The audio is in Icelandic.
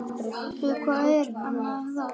Hvað með rósir?